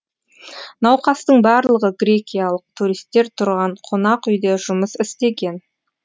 науқастың барлығы грекиялық туристер тұрған қонақ үйде жұмыс істеген